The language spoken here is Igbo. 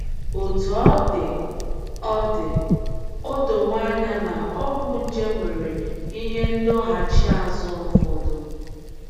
Otú ọ dị, o dị, o dowo anya na ọgwụ nje nwere ihe ndọghachi azụ ụfọdụ.